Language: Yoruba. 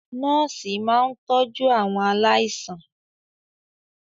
Nọ́ọ̀sì máa ń tọjú àwọn aláìsàn.